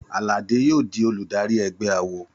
Àlàdé yóò di olùdarí ẹgbẹ́ awo.